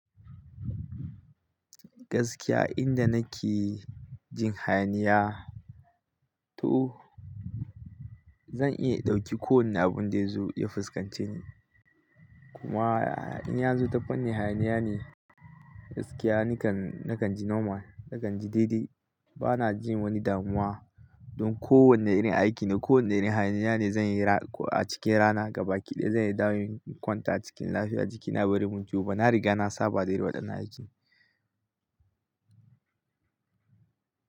Gaskiya inda nake jin hayaniya to zan iya ɗauki kowane abun da ya zo ya fuskance ni. Kuma in ya zo ta fannin hayaniya ne gaskiya nikan, nakan ji nomal, nakan ji daidai. Bana jin wani damuwa don kowane irin aiki ne, kowane irin hayaniya ne zan yi a cikin rana gabaki daya zan yadda in kwanta cikin lafiya jikina bare mun ciwoba. Na riga na saba da irin wadannan aiki.